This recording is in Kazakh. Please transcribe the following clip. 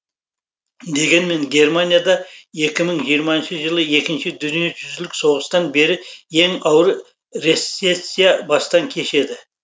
дегенмен германия да екі мың жиырмасыншы жылы екінші дүниежүзілік соғыстан бері ең ауыр рецессияны бастан кешеді